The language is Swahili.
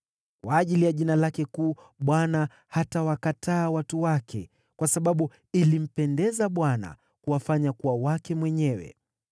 Kwa ajili ya jina lake kuu Bwana hatawakataa watu wake, kwa sababu ilimpendeza Bwana kuwafanya kuwa wake mwenyewe.